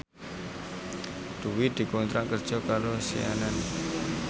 Dwi dikontrak kerja karo CNN